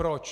Proč?